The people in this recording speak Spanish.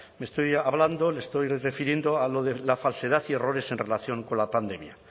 estoy hablando me estoy refiriendo a lo de la falsedad y errores en relación con la pandemia